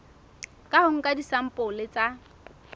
ka ho nka disampole tsa